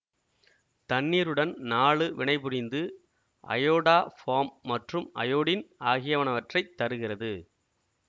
தண்ணீருடன் நாலு வினைபுரிந்து அயோடோஃபார்ம் மற்றும் அயோடின் ஆகியவனவற்றைத் தருகிறது